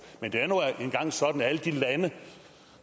men det er nu engang sådan at i alle de lande